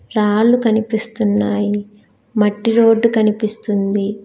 రాళ్లు కనిపిస్తున్నాయి మట్టి రోడ్డు కనిపిస్తుంది.